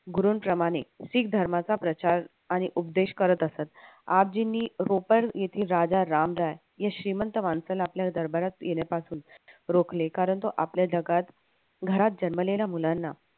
गुरूंप्रमाणे शीख धर्माचा प्रचार आणि उपदेश करत असत. आबजीनी येथील राजा रामराय या श्रीमंत माणसाला आपल्या दरबारात येण्यापासून रोखले कारण तो आपल्या जगात घरात जन्मलेल्या मुलांना